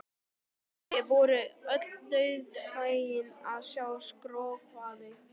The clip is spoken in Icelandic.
Þau voru öll dauðfegin að ég skrökvaði.